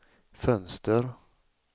fönster